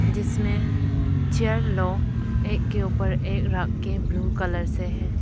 जिसमें चेयर लोग एक के ऊपर एक रख के ब्लू कलर से है।